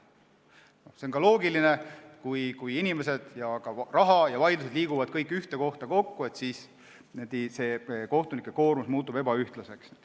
See on loogiline, et kui inimesed, raha ja ka vaidlused liiguvad kõik ühte kohta kokku, siis kohtunike koormus muutub ebaühtlaseks.